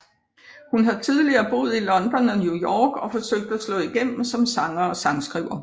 Hun har tidligere boet i London og New York for at forsøge at slå igennem som sanger og sangskriver